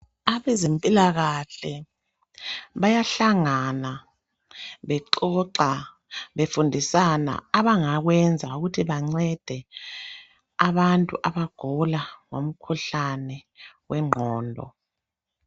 Abezempilakahle bayahlangana bexoxa, befundisana abangakwenza ukuthi bancede abantu abagula ngomkhuhlane wengqondo.